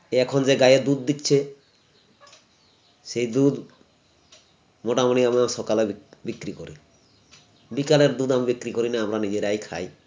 এখন যে গাঁইয়া দুধ দিচ্ছে সেই দুধ মোটামুটি আমরা সকলে বিক বিক্রি করি বিকেলের দুধ আমরা বিক্রি করিনা আমরা নিজেরাই খাই